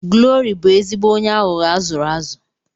Glory bụ ezigbo onye aghụghọ azụrụ azụ.